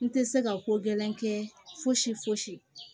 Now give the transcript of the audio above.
N tɛ se ka ko gɛlɛn kɛ fosi fosi